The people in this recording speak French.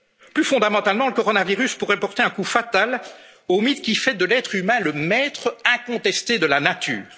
et de tous. Plus fondamentalement, le coronavirus pourrait porter un coup fatal au mythe qui fait de l'être humain le maître incontesté